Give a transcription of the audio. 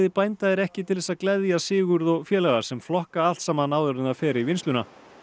bænda er ekki til þess að gleðja Sigurð og félaga sem flokka allt saman áður en það fer í vinnsluna